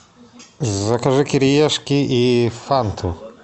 закажи кириешки и фанту